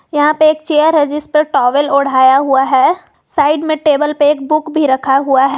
यहां पे एक चेयर है जिस पर टावल ओढ़ाया हुआ है साइड में टेबल पे एक बुक भी रखा हुआ है।